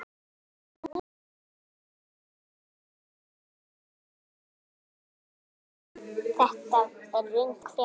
Þetta er röng frétt.